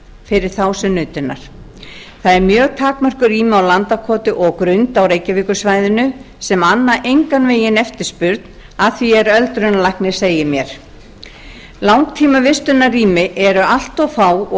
fyrir þá sem nutu hennar það eru mjög takmörkuð rými á landakoti og á grund á reykjavíkursvæðinu sem anna engan veginn eftirspurn að því er öldrunarlæknir segir mér langtímavistunarrými eru allt of fá og